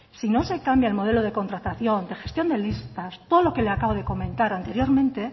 si no se cambia el modelo de contratación de gestión de listas todo lo que le acabo de comentar anteriormente